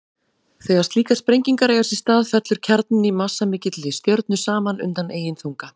Þegar slíkar sprengingar eiga sér stað fellur kjarninn í massamikilli stjörnu saman undan eigin þunga.